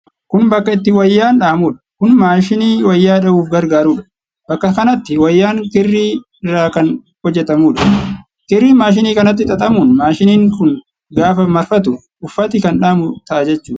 Kun bakka itti wayyaan dhahamuudha. Kun maashinii wayyaa dhahuuf gargaarudha. Bakka kanatti wayyaan kirrii irraa kan hojjatamuudha. Kirriin maashinii kanatti xaxamuun maashiniin kun gaafa marfatu, uffati kan dhahamu ta'a jechuudha.